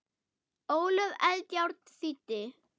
Ólöf Eldjárn þýddi.